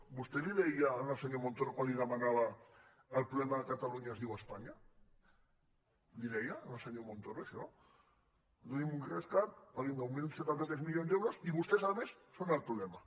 vostè li deia al senyor montoro quan els hi demanava que el problema de catalunya es diu espanya li ho deia al senyor montoro això doni’m un rescat pagui’m nou mil setanta tres milions d’euros i vostès a més són el problema